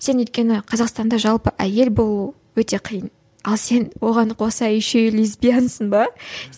сен өйткені қазақстанда жалпы әйел болу өте қиын ал сен оған қоса еще и лесбиянсің ба